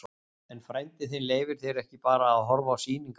En frændi þinn leyfir þér ekki bara að horfa á sýningar.